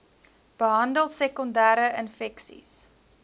behandel sekondere infeksies